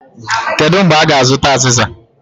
Kedu mgbe a ga-azụta aziza?